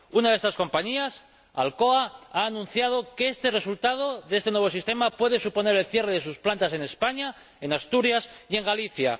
Una de estas compañías, Alcoa, ha anunciado que el resultado de este nuevo sistema puede suponer el cierre de sus plantas en España, en Asturias y en Galicia.